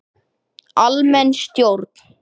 Almenn stjórn.